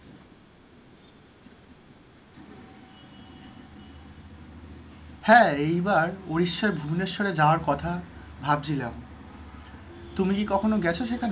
হ্যাঁ, এইবার উড়িষ্যার ভুবনেশ্বরে যাওয়ার কথা ভাবছিলাম, তুমি কি কখনো গেছো সেখানে?